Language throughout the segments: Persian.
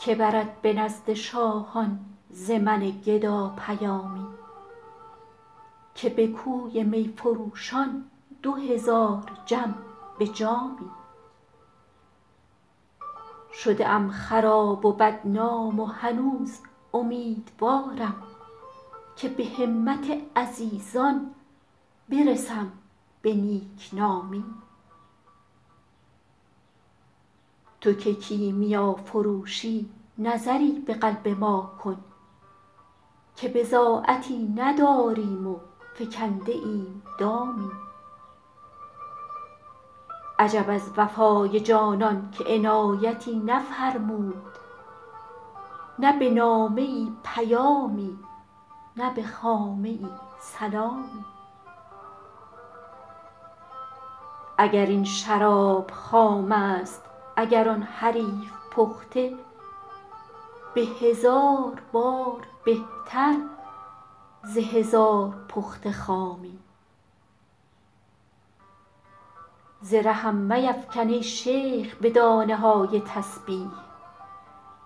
که برد به نزد شاهان ز من گدا پیامی که به کوی می فروشان دو هزار جم به جامی شده ام خراب و بدنام و هنوز امیدوارم که به همت عزیزان برسم به نیک نامی تو که کیمیافروشی نظری به قلب ما کن که بضاعتی نداریم و فکنده ایم دامی عجب از وفای جانان که عنایتی نفرمود نه به نامه ای پیامی نه به خامه ای سلامی اگر این شراب خام است اگر آن حریف پخته به هزار بار بهتر ز هزار پخته خامی ز رهم میفکن ای شیخ به دانه های تسبیح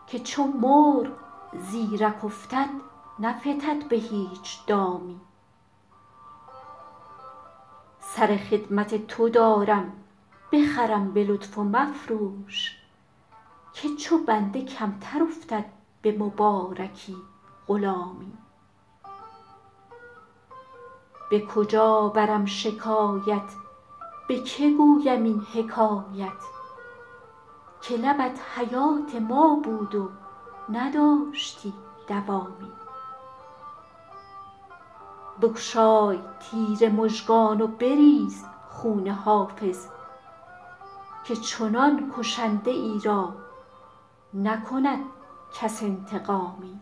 که چو مرغ زیرک افتد نفتد به هیچ دامی سر خدمت تو دارم بخرم به لطف و مفروش که چو بنده کمتر افتد به مبارکی غلامی به کجا برم شکایت به که گویم این حکایت که لبت حیات ما بود و نداشتی دوامی بگشای تیر مژگان و بریز خون حافظ که چنان کشنده ای را نکند کس انتقامی